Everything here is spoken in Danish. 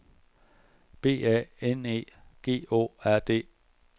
B A N E G Å R D